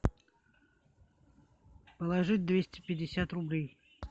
положить двести пятьдесят рублей